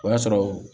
O y'a sɔrɔ